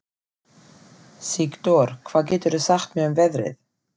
Sigdór, hvað geturðu sagt mér um veðrið?